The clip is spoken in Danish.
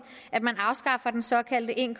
at man afskaffer den såkaldte en